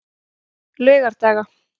laugardaga